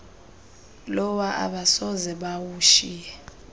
lowa abasoze bawushiye